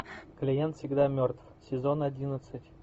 клиент всегда мертв сезон одиннадцать